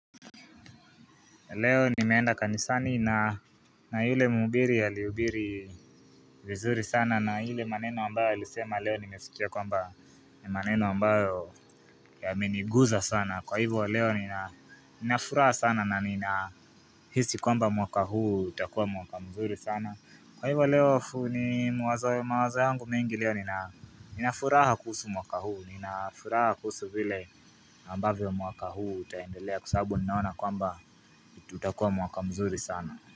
Leo nimeenda kanisani na yule mhubiri alihubiri vizuri sana na ile maneno wambayo alisema leo nimesikia kwamba ni maneno ambayo yameniguza sana kwa hivyo leo nina furaha sana na nina hisi kwamba mwaka huu utakuwa mwaka mzuri sana Kwa hivyo leo fu ni mwaz mawazo yangu mingi leo ninafuraha kuhusu mwaka huu, nina furaha kuhusu vile ambavyo mwaka huu utaendelea kwa sababu ninaona kwamba tutakuwa mwaka mzuri sana.